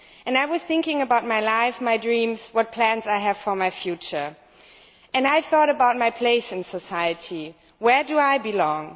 I was thinking about my life, my dreams, what plans I had for my future, and I thought about my place in society where do I belong?